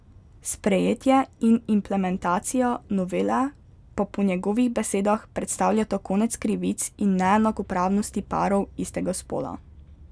Sprejetje in implementacija novele pa po njegovih besedah predstavljata konec krivic in neenakopravnosti parov istega spola.